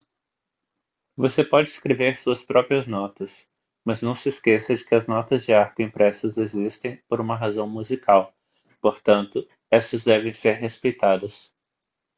você pode escrever suas próprias notas mas não se esqueça de que as notas de arco impressas existem por uma razão musical portanto estas devem ser respeitadas